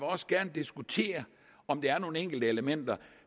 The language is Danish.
også gerne diskutere om der er nogle enkelte elementer